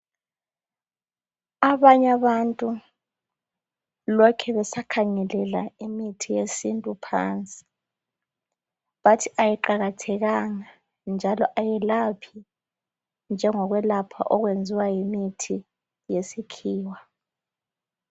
Abanye abantu lokhe besakhangelela imithi yesintu phansi, bathi ayiqakathekanga njalo ayilephi njengokwelapha okwenziwa yimithi yesikhiwa.